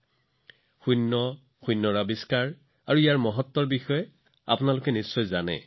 আপোনালোকে নিশ্চয় শূন্যৰ আৱিষ্কাৰ আৰু গুৰুত্বৰ বিষয়ে বহুত শুনিছে